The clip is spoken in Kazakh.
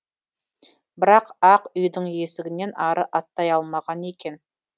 бірақ ақ үйдің есігінен ары аттай алмаған екен